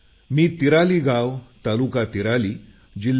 मी तिराली गाव तालुका तिराली जि